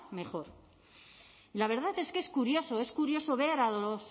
mejor y la verdad es que es curioso es curioso ver a los